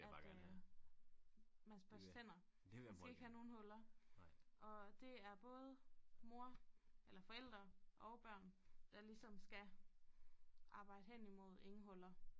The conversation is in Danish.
At øh man skal børste tænder man skal ikke have nogle huller og det er både mor eller forældre og børn der ligesom skal arbejde hen imod ingen huller